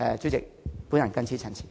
主席，我謹此陳辭。